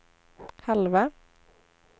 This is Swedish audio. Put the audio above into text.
halva